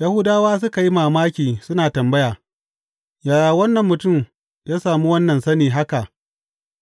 Yahudawa suka yi mamaki suna tambaya, Yaya wannan mutum ya sami wannan sani haka